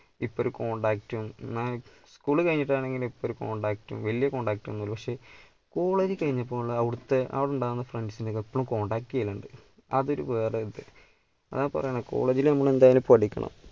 ഇപ്പോ ഒരു contact ഉം എന്നാ school കഴിഞ്ഞിട്ടാണെ ഇപ്പം oru contact ഉം വലിയ contact ഒന്നുമില്ല പക്ഷേ college കഴിഞ്ഞപ്പോൾ അവിടുത്തെ അവിടെ ഉണ്ടാകുന്ന friends നെ ഒക്കെ ഇപ്പളും contact ചെയ്യലുണ്ട്. അതൊരു വേറെ ഒരു ഇത് അതാ പറയുന്നെ college ൽ നമ്മൾ എന്തായാലും പഠിക്കണം.